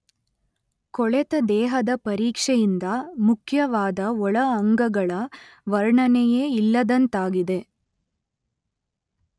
ಕೊಳೆತ ದೇಹದ ಪರೀಕ್ಷೆಯಿಂದ ಮುಖ್ಯವಾದ ಒಳ ಅಂಗಗಳ ವರ್ಣನೆಯೇ ಇಲ್ಲದಂತಾಗಿದೆ.